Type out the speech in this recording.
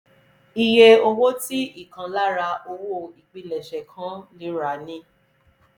iye owó tí ìkan lára owó ìpilẹ̀ṣẹ̀ kan lè rà ni